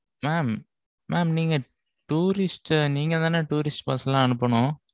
mam mam நீங்க tourist அ, நீங்கதானே tourist bus லா அனுப்பணும்?